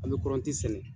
An bɛ kɔrɔnti sɛnɛ